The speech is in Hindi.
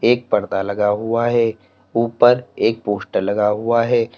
एक पर्दा लगा हुआ है ऊपर एक पोस्टर लगा हुआ है।